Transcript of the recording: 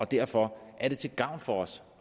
derfor er det til gavn for os